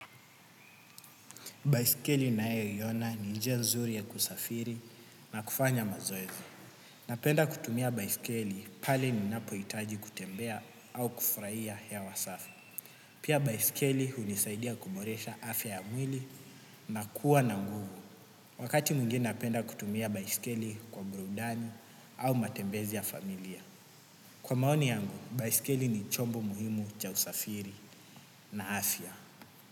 Baiskeli nayoiona ni njia nzuri ya kusafiri na kufanya mazoezi. Napenda kutumia baiskeli pale ninapohitaji kutembea au kufurahia hewa safi. Pia baisikeli hunisaidia kuboresha afya ya mwili na kuwa na nguvu. Wakati mwingi napenda kutumia baisikeli ku burudani au matembezi ya familia. Kwa maoni yangu, baisikeli ni chombo muhimu cha usafiri na afya.